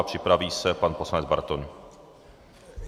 A připraví se pan poslanec Bartoň.